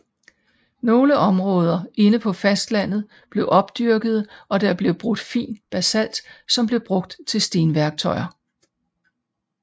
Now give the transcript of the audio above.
Nogle områder inde på fastlandet blev opdyrkede og der blev brudt fin basalt som blev brugt til stenværktøjer